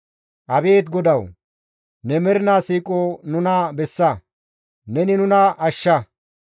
Abeet GODAWU! Ne mernaa siiqoza nuna bessa; neni nuna ashsha.